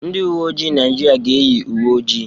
Ndị uwe ojii Naịjirịa ga-eyi uwe ojii.